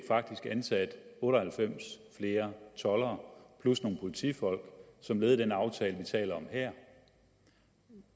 faktisk fik ansat otte og halvfems flere toldere plus nogle politifolk som led i den aftale vi taler om her